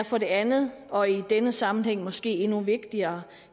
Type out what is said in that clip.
for det andet og i denne sammenhæng måske endnu vigtigere